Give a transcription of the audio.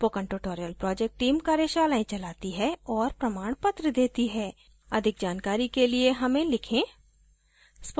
spoken tutorial project team कार्यशालाओं का आयोजन करती है और प्रमाणपत्र देती है अधिक जानकारी के लिए हमें लिखें